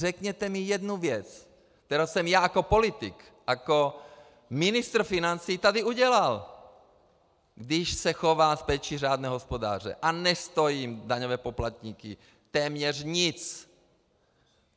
Řekněte mi jednu věc, kterou jsem já jako politik, jako ministr financí tady udělal, když se chovám s péčí řádného hospodáře a nestojím daňové poplatníky téměř nic.